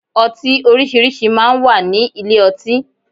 Ọtí orísìírísìí máa ń wà ní ilé ọtí.